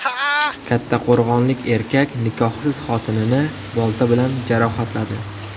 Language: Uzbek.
Kattaqo‘rg‘onlik erkak nikohsiz xotinini bolta bilan jarohatladi.